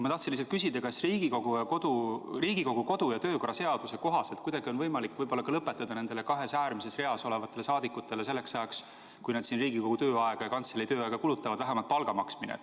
Ma tahtsin lihtsalt küsida, kas Riigikogu kodu- ja töökorra seaduse kohaselt kuidagi on võimalik lõpetada nendele kahes äärmises reas olevatele saadikutele selleks ajaks, kui nad siin Riigikogu tööaega ja kantselei tööaega kulutavad, vähemalt palga maksmine.